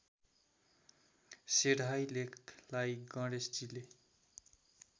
सेढाई लेखलाई गणेशजीले